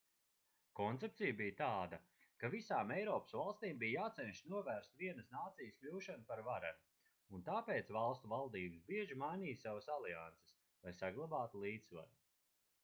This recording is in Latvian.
koncepcija bija tāda ka visām eiropas valstīm bija jācenšas novērst vienas nācijas kļūšanu par varenu un tāpēc valstu valdības bieži mainīja savas alianses lai saglabātu līdzsvaru